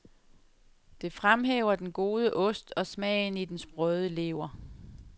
Det fremhæver den gode ost, og smagen i den sprøde lever.